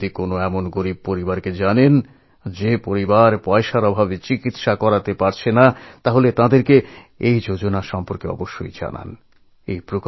আপনারা যদি কোনো দরিদ্র মানুষকে জানেন যিনি অর্থের অভাবে চিকিৎসা করাতে পারছেন না তাঁদের এই যোজনা সম্পর্কে জানান